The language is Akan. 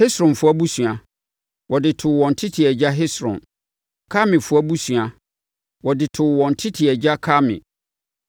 Hesronfoɔ abusua, wɔde too wɔn tete agya Hesron; Karmifoɔ abusua, wɔde too wɔn tete agya Karmi.